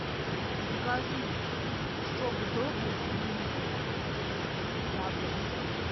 закажи сок добрый три литра яблочный